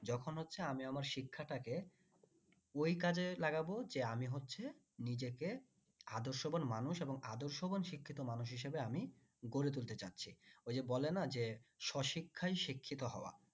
যখন হচ্ছে আমি আমার শিক্ষাটাকে ওই কাজে লাগাব যে আমি হচ্ছে নিজেকে আদর্শবান মানুষ এবং আদর্শবান শিক্ষিত মানুষ হিসেবে আমি গড়ে তুলতে যাচ্ছি ওই যে বেলনা যে স শিক্ষায় শিক্ষিত হওয়া